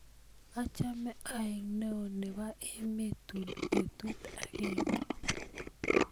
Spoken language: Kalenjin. achame aek neo nebo emet tuun betut agenge